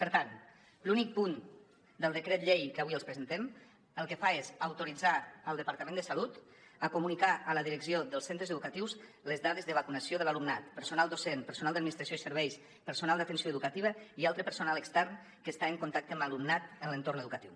per tant l’únic punt del decret llei que avui els presentem el que fa és autoritzar el departament de salut a comunicar a la direcció dels centres educatius les dades de vacunació de l’alumnat personal docent personal d’administració i serveis personal d’atenció educativa i altre personal extern que està en contacte amb l’alumnat en l’entorn educatiu